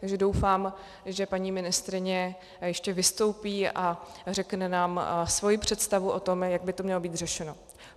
Takže doufám, že paní ministryně ještě vystoupí a řekne nám svoji představu o tom, jak by to mělo být řešeno.